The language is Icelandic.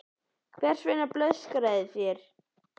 Hvers vegna blöskraði þér?